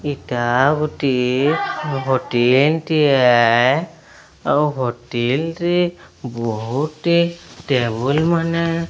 ଇଟା ଗୋଟିଏ ହୋଟେଲ୍ ଟିଏ। ଆଉ ହୋଟିଲ ରେ ବୋହୁଟି ଟେବୁଲ୍ ମାନେ --